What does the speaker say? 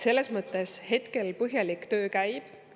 Selles mõttes hetkel põhjalik töö käib.